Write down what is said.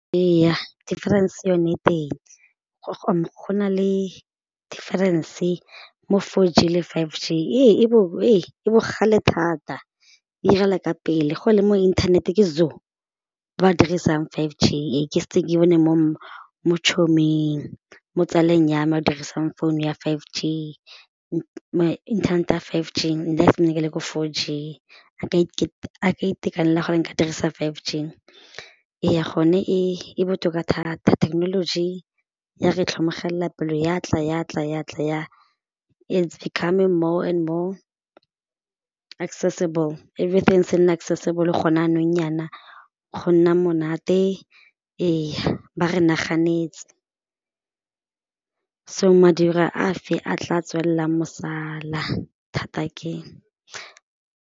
Ee defference yone e teng go na le defference mo four G le five G e bogale thata e irela ka pele go le mo inthanete ke ba ba dirisang five G ke setse ke bone mo mo tsaleng ya me o dirisang founu ya five G inthanete ya five G nna sampane ke le ko four G a ka itekanela gore nka dirisa five G, eya gone e botoka thata technology ya re tlhokomegela pelo ya tla ya tla ya tla ya its becoming more and more accesible everything se nna accesible gone jaanong jaana gonna monate eya ba re naganetse, so madirwa a fe a tla tswelelang mosala, thata ke.